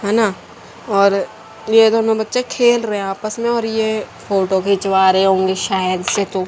है ना और ये दोनों बच्चे खेल रहे हैं आपस में और ये फोटो खिचवा रहे होंगे शायद से तू--